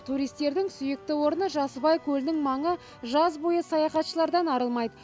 туристердің сүйікті орны жасыбай көлінің маңы жаз бойы саяхатшылардан арылмайды